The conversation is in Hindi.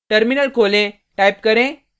टर्मिनल खोलें टाइप करें